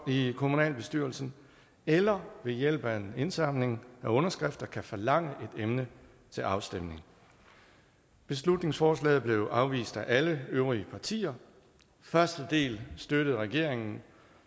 i kommunalbestyrelsen eller ved hjælp af en indsamling af underskrifter kan forlange et emne til afstemning beslutningsforslaget blev afvist af alle øvrige partier første del støttede regeringen